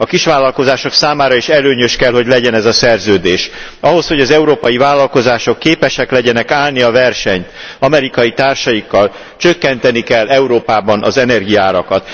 A kisvállalkozások számára is előnyös kell, hogy legyen ez a szerződés. Ahhoz, hogy az európai vállalkozások képesek legyenek állni a versenyt amerikai társaikkal, csökkenteni kell Európában az energiaárakat.